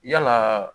Yalaa